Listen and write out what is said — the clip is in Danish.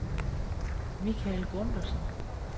Michael Gundersen